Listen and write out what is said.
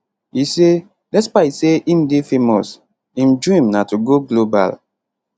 e say despite say im dey famous im dream na to go global